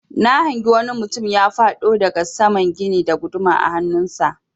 Na hangi wani mutum ya faɗo daga saman gini da guduma a hannun sa.